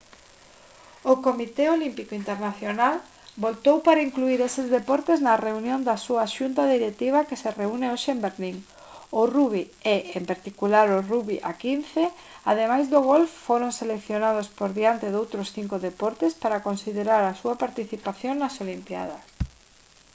o comité olímpico internacional votou para incluír eses deportes na reunión da súa xunta directiva que se reúne hoxe en berlín o rugby e en particular o rugby a 15 ademais do golf foron seleccionados por diante doutros cinco deportes para considerar a súa participación nas olimpíadas